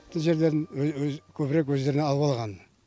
тың жерлердің көбірек өздеріне алып алған